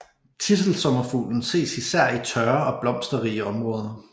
Tidselsommerfuglen ses især i tørre og blomsterrige områder